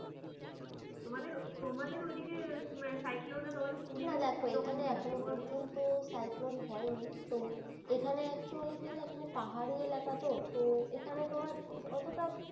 তোমাদের তোমাদের ওই দিকে cyclone র দেখো এখানে এখনো পর্যন্ত cyclone হয়নি তো এখানে actually কি না পাহাড়ি এলাকা তো তো এখানে তোমার অতটা